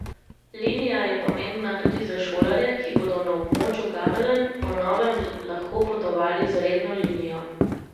Linija je pomembna tudi za šolarje, ki bodo na območju Gameljn po novem lahko potovali z redno linijo.